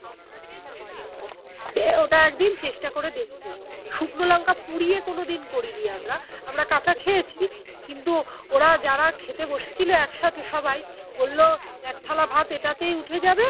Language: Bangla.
ওটা একদি চেষ্টা করে দেখবো শুকনো লঙ্কা পুড়িয়ে কোনোদিন করিনি আমরা আমরা কাঁচা খেয়েছি কিন্তু ওরা যারা খেতে বসেছিল একসাথে সবাই বললো একথালা ভাত এটাতেই উঠে যাবে